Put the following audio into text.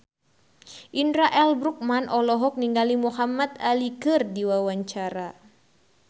Indra L. Bruggman olohok ningali Muhamad Ali keur diwawancara